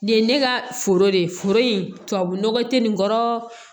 Nin ye ne ka foro de ye foro in tubabu nɔgɔ tɛ nin kɔrɔ